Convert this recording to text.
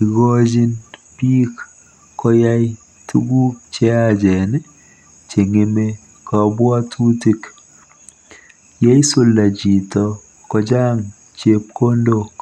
Igoochin biik koyai tuguk cheyaachen cheng'eme kabwatutik .Yeisulda chito kochang chepkondok.